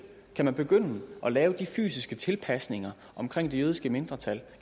begynde at lave de fysiske tilpasninger omkring det jødiske mindretal